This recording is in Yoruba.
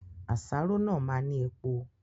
Àsáró náà máa ni epo